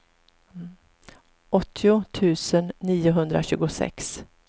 åttio tusen niohundratjugosex